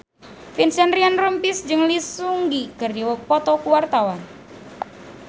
Vincent Ryan Rompies jeung Lee Seung Gi keur dipoto ku wartawan